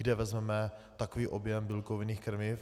Kde vezmeme takový objem bílkovinných krmiv?